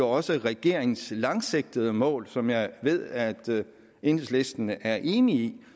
også regeringens langsigtede mål som jeg ved at enhedslisten er enig i